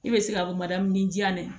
I bɛ se ka ni jan ye